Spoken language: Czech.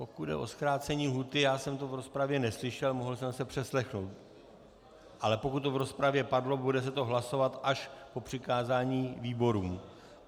Pokud jde o zkrácení lhůty, já jsem to v rozpravě neslyšel, mohl jsem se přeslechnout, ale pokud to v rozpravě padlo, bude se to hlasovat až po přikázání výborům.